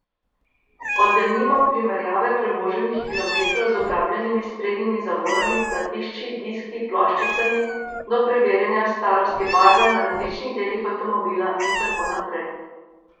Od denimo primerjave prevoženih kilometrov z obrabljenimi sprednjimi zavorami, platišči, diski, ploščicami, do preverjanja starosti barve na različnih delih avtomobila in tako naprej.